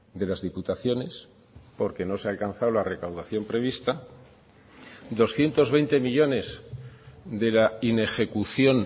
de las diputaciones porque no se ha alcanzado la recaudación prevista doscientos veinte millónes de la inejecución